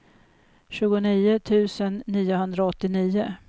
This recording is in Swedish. tjugonio tusen niohundraåttionio